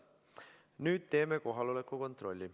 Nüüd teeme kohaloleku kontrolli.